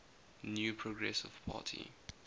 new progressive party